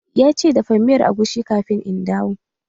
Ya ce "Dafa miyar agushi kafin in dawo"!